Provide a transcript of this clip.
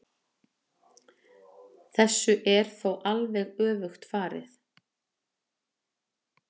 Þessu er þó alveg öfugt farið.